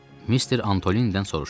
Mister Antolinidən soruşdum.